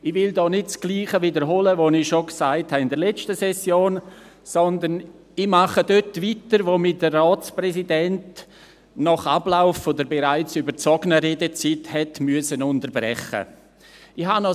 Ich will hier nicht das Gleiche wiederholen, was ich schon in der letzten Session gesagt habe, sondern ich mache dort weiter, wo mich der Ratspräsident nach Ablauf der bereits überzogenen Redezeit unterbrechen musste.